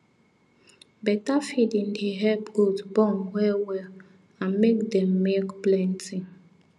better feeding dey help goat born well well and make dem milk plenty